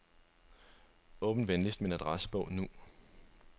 Åbn venligst min adressebog nu.